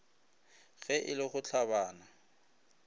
ge e le go hlabana